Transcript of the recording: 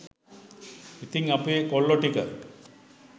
ඉතිං අපේ කොල්ලො ටික